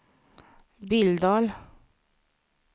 Billdal